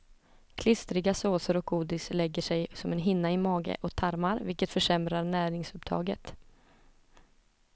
Klistriga såser och godis lägger sig som en hinna i mage och tarmar, vilket försämrar näringsupptaget.